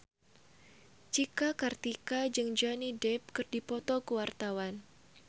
Cika Kartika jeung Johnny Depp keur dipoto ku wartawan